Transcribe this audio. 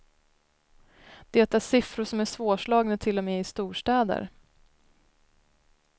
Det är siffror som är svårslagna till och med i storstäder.